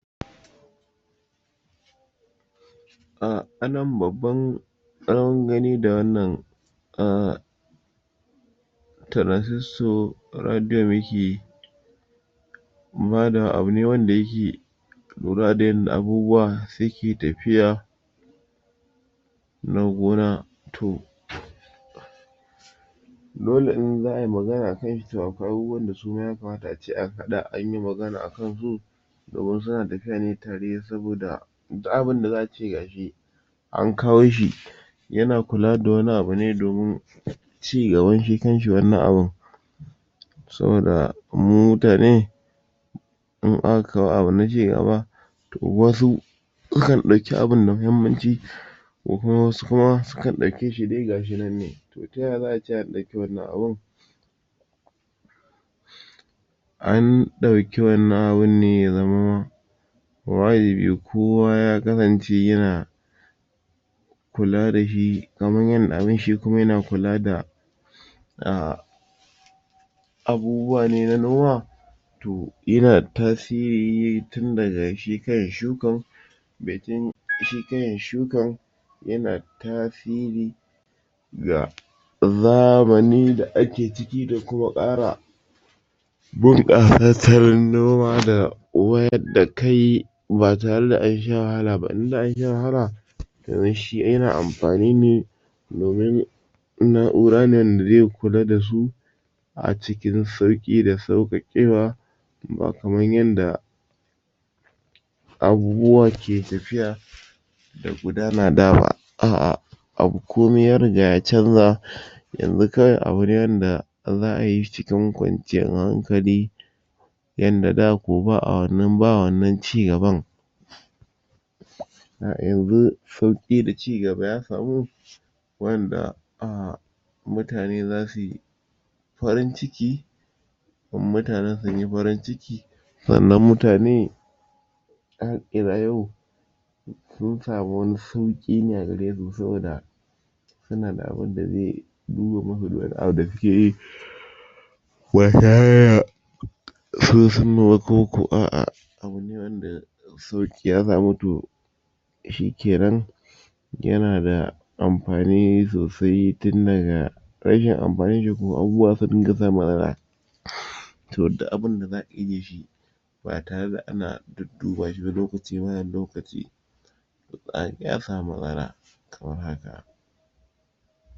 a anan babban tsawon gani da wannan a transistor radio mikkey badawa abu ne wanda yake lura da yanda abubuwa suke tafiya na gona to dole in za ayi magana akan shi to akwai abubuwan da suma ya kamata ace an haɗa anyi magana akan su domin suna tafiya ne tare saboda duk abun da zasuyi gashi an kawo shi yana kula da wani abune domin ci gaban shi kanshi wannan abun saboda mu mutane in aka kawo abu na ci gaba to wasu sukan ɗauki abun da muhimman ci ko kuma wasu kuma sukan ɗauke shi dai gashi nan dai to taya za'ai taya in ɗauki wannan abun an ɗauki wannan abun ne ya zamo wajibi kowa ya kasance yana kula dashi kaman yanda abun shikuma yana kula da a abubuwa ne na noma to yana tasiri tin daga shi kanshi shukan baicin shi kanshi shukan yana tasiri ga zamani da ake ciki da kuma ƙara bin ƙasassarin noma da wayar da kai ba tare da ansha wahala ba in za'a sha wahala yanzu shi yana amfani ne domin na'ura ne wanda ze kula dasu a cikin sauƙi da sauƙaƙewa ba kaman yanda abubuwa ke tafiya da gudana da ba a'ah abu komai ya riga ya canza yanzu kawai abune wanda za'a yishi cikin ƙwanciyar hankali yanda da ko ba'a wannan ba wannan ci gaban yanzu sauƙi da ci gaba ya samu wanda ah mutane zasuyi farin ciki in mutanen sunyi farin ciki sannan mutane sun samu wani sauƙi ne a garesu saboda sunada abunda ze duba musu duk wani abu da suke yi koko a'ah abune wanda sauƙi ya samu to shike nan yanada amfani sosai tin daga rashi amfanin shi kuma abubuwa zasu dinga samun matsala to duk abinda zakayi dashi ba tare da ana dudduba shiba lokaci zuwa lokaci za'a iya samun matsala kamar haka